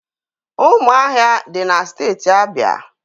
Ụmụahịa dị na Steeti Abịa.